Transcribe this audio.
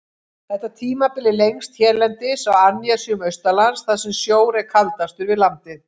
Þetta tímabil er lengst hérlendis á annesjum austanlands, þar sem sjór er kaldastur við landið.